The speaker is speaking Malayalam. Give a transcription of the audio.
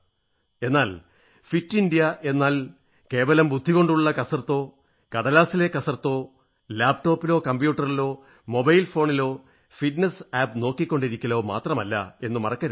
എന്നാൽ ഫിറ്റ് ഇന്ത്യാ എന്നാൽ കേവലം ബുദ്ധികൊണ്ടുള്ള കസർത്തോ കടലാസിലെ കസർത്തോ ലാപ്ടോപ്പിലോ കമ്പ്യൂട്ടറിലോ മൊബൈൽ ഫോണിലോ ഫിറ്റ്നസ് ആപ് നോക്കിക്കൊണ്ടിരിക്കലോ മാത്രമല്ല എന്നു മറക്കരുത്